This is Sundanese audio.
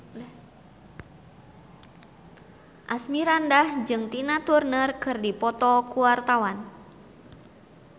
Asmirandah jeung Tina Turner keur dipoto ku wartawan